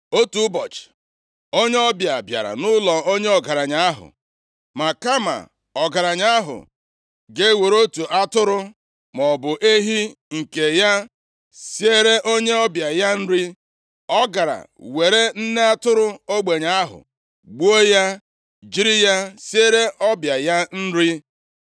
“Otu ụbọchị, onye ọbịa bịara nʼụlọ onye ọgaranya ahụ. Ma kama ọgaranya ahụ ga-ewere otu atụrụ maọbụ ehi nke ya siere onye ọbịa ya nri, ọ gara were nne atụrụ ogbenye ahụ, gbuo ya, jiri ya siere ọbịa ya nri.”